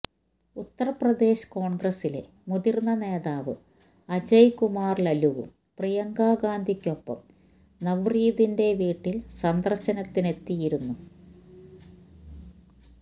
ഉത്തര്പ്രദേശ് കോണ്ഗ്രസിലെ മുതിര്ന്ന നേതാവ് അജയ് കുമാര് ലല്ലുവും പ്രിയങ്കാ ഗാന്ധിക്കൊപ്പം നവ്രീതിന്റെ വീട്ടില് സന്ദര്ശനത്തിനെത്തിയിരുന്നു